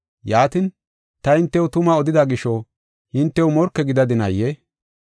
Yaatin, ta hintew tuma odida gisho hintew morke gidadinaayee?